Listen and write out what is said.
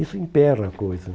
Isso emperra a coisa.